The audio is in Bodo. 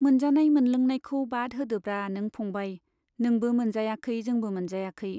मोनजानाय मोनलोंनायखौ बाद होदोब्रा नों फंबाइ, नोंबो मोनजायाखै जोंबो मोनजायाखै।